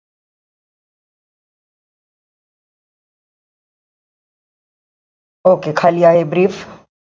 Okay खाली आहे brief.